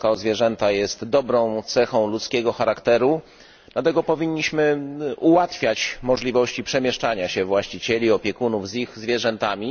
Troska o zwierzęta jest dobrą cechą ludzkiego charakteru, dlatego powinniśmy ułatwiać możliwości przemieszczania się właścicieli i opiekunów z ich zwierzętami.